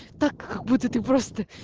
так как будто ты просто